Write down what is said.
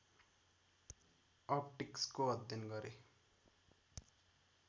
अप्टिक्सको अध्ययन गरे